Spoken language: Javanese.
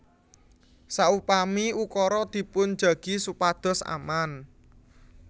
Saupami ukara dipun jagi supados aman